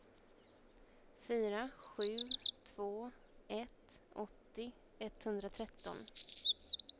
fyra sju två ett åttio etthundratretton